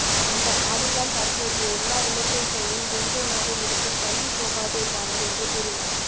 அந்த பாடல் தான் தற்போதைய எல்லா இளைஞர்களின் ரிங்க்டோனாக இருக்கும் தள்ளிப்போகாதே பாடல் என்று கூறினார்